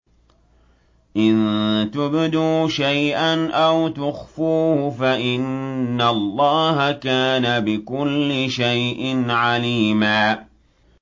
إِن تُبْدُوا شَيْئًا أَوْ تُخْفُوهُ فَإِنَّ اللَّهَ كَانَ بِكُلِّ شَيْءٍ عَلِيمًا